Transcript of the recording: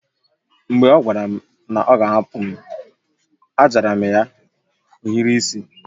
Mgbe ọ gwara m na ọ ga a hapu m, a jara m ya ohiri isi